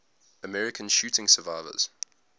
american shooting survivors